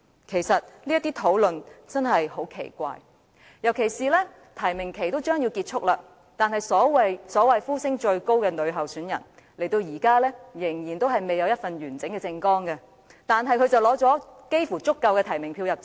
其實，這些討論真的很奇怪，尤其是提名期即將結束，那位所謂呼聲最高的女參選人，時至今日仍未提供一份完整的政綱，但她差不多已取得足夠的提名票"入閘"。